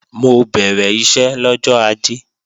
Mo bẹ̀rẹ̀ iṣẹ́ lọ́jọ́ Ajé